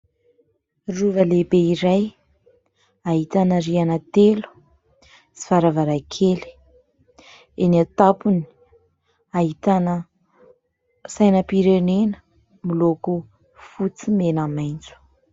rova lehibe iray ahitana riana telo sy varavaran-kely eny an-tampony ahitana sainam-pirenena miloko fotsymena maintso